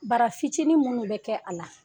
Bara fitinin minnu bɛ kɛ a la